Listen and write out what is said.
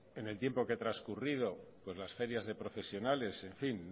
en el tiempo que ha transcurrido las ferias de profesionales en fin